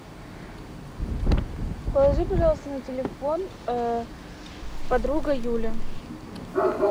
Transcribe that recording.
положи пожалуйста на телефон подруга юля